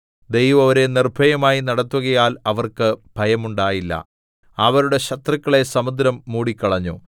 ദൈവം അവരെ നിർഭയമായി നടത്തുകയാൽ അവർക്ക് ഭയമുണ്ടായില്ല അവരുടെ ശത്രുക്കളെ സമുദ്രം മൂടിക്കളഞ്ഞു